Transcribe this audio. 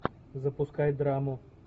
запускай драму